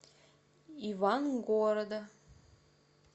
ивангорода